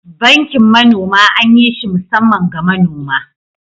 Bankin manoma anyi shi musaman ga manoma